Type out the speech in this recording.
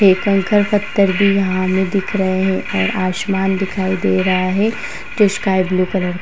ये कंकड़ पत्थर भी यहाँ हमे दिख रहे हैं और आसमान दिखाई दे रहा है जो स्काई ब्लू कलर का --